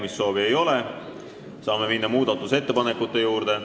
Kõnesoove ei ole, saame minna muudatusettepanekute juurde.